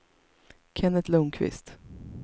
Kenneth Lundquist